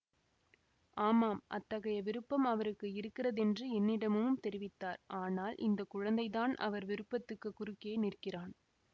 ஆமாம் அத்தகைய விருப்பம் அவருக்கு இருக்கிறதென்று என்னிடமும் தெரிவித்தார் ஆனால் இந்த குழந்தைதான் அவர் விருப்பத்துக்குக் குறுக்கே நிற்கிறான்